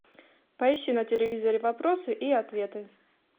поищи на телевизоре вопросы и ответы